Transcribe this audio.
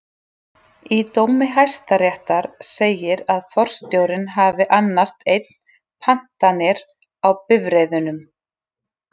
Í dómi hæstaréttar segir að forstjórinn hafi annast einn pantanir á bifreiðunum.